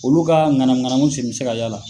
Olu ka ŋanamu ŋanamu sen be se ka y'a la